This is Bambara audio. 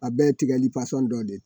A bɛɛ tigɛli fasɔn dɔ de ye.